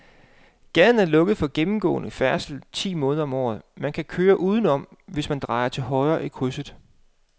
Gaden er lukket for gennemgående færdsel ti måneder om året, men man kan køre udenom, hvis man drejer til højre i krydset.